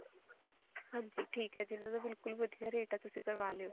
ਹਾਂਜੀ ਠੀਕ ਹੈ ਜੀ ਇਹਨਾ ਦਾ ਬਿਲਕੁਲ ਵਧੀਆ ਰੇਟ ਹੈ ਤੁਸੀਂ ਕਰਵਾ ਲਿਓ